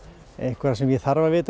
eitthvað sem ég þarf að vita